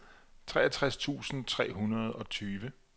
treogtres tusind tre hundrede og tyve